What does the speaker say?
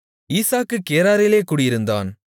ஈசாக்கு கேராரிலே குடியிருந்தான்